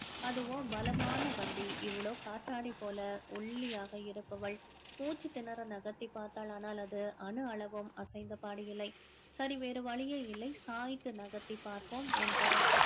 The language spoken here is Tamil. அதுவோ பலமான வண்டி இவளோ காற்றாடி போல ஒல்லியாக இருப்பவள் மூச்சு திணற நகர்த்தி பார்த்தால் ஆனால் அது அணு அளவும் அசைந்த பாடு இல்லை சரி வேற வழியே இல்லை சாய்த்து நகர்த்தி பார்ப்போம் என்று